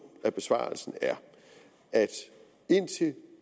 af besvarelsen er at indtil